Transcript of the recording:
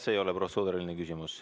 See ei ole protseduuriline küsimus.